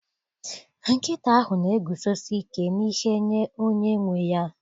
Nkịta ahụ na-eguzosi ike n'ihe nye onye nwe ya.